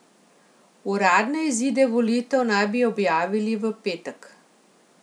Uradne izide volitev naj bi objavili v petek.